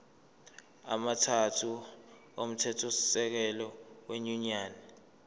amathathu omthethosisekelo wenyunyane